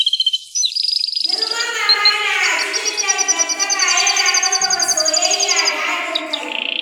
Girman amana a cikin dangantaka yana ƙarfafa soyayya da haɗin kai.